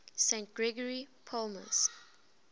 st gregory palamas